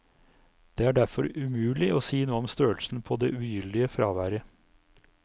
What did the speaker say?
Det er derfor umulig å si noe om størrelsen på det ugyldige fraværet.